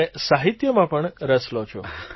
અને સાહિત્યમાં પણ રસ લો છો